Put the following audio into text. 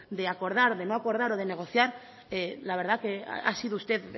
de acordar de no acordar o de negociar la verdad que ha sido usted